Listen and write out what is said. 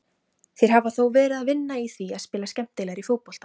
Þeir hafa þó verið að vinna í því að spila skemmtilegri fótbolta.